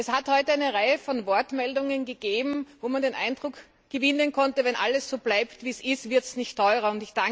Es hat heute eine Reihe von Wortmeldungen gegeben, bei denen man den Eindruck gewinnen konnte, wenn alles so bleibt, wie es ist, wird es nicht teurer.